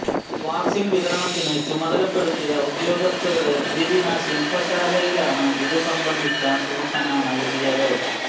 വാക്സിന് വിതരണത്തിനു ചുമതലപ്പെടുത്തിയ ഉദ്യോഗസ്ഥരുടെ ദ്വിദിന ശില്പശാലയിലാണ് ഇതുസംബന്ധിച്ച സൂചന നല്കിയത്